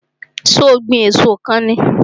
So ó ń gbìn èso kan ni?